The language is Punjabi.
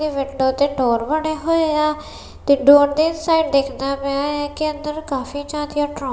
ਇਹ ਵਿੰਡੋ ਤੇ ਡੋਰ ਬਣੇ ਹੋਇਆ ਤੇ ਡੋਰ ਦੇ ਸਾਈਡ ਦਿੱਖਦਾ ਪਿਆ ਹੈ ਕਿ ਅੰਦਰ ਕਾਫੀ ਜੀਆਦਿਆਂ ਟਰੋ--